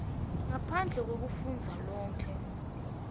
ngaphandle kwekufundza lonkhe